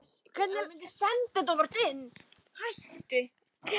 Mættum við ekkert gera sem hann væri ekki með í?